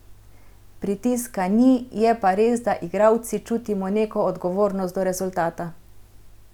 Pritiska ni, je pa res, da igralci čutimo neko odgovornost do rezultata.